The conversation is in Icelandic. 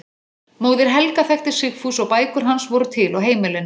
Móðir Helga þekkti Sigfús og bækur hans voru til á heimilinu.